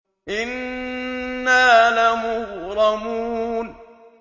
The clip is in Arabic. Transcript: إِنَّا لَمُغْرَمُونَ